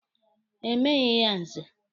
E meghi ya Nze.